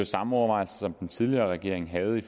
samme overvejelser som den tidligere regering havde i